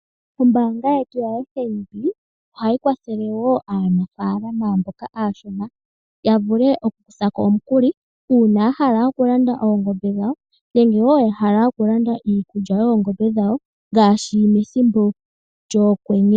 Ombanga yetu ya FNB ohayi kwathele wo aanafalama mboka ashona yavule oku kuthako omukuli una yahala okulanda oongombe dhawo nenge wo yahala okulanda iikulya oongombe dhawo ngashi methimbo lyokwenye.